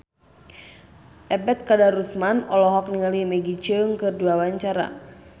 Ebet Kadarusman olohok ningali Maggie Cheung keur diwawancara